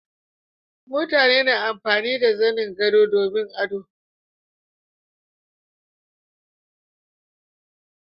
mutane na amfani da zanin gado domin ado